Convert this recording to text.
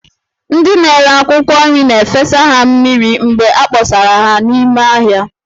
Ndị na-ere akwụkwọ nri na-efesa ha mmiri mgbe a kpọsara ha n'ime ahịa